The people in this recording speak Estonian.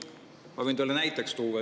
Ma võin teile näite tuua.